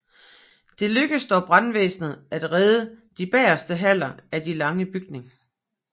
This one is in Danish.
Det lykkedes dog brandvæsenet at redde de bagerste haller af den lange bygning